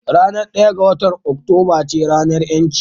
Ranar ɗaya ga watan Oktoba ce ranar ƴanci